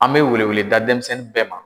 An bɛ wele wele da denmisɛnnin bɛɛ ma.